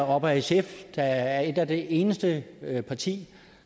op ad sf der er et af de eneste partier